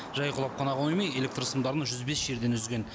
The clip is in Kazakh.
жай құлап қана қоймай электр сымдарын жүз бес жерден үзген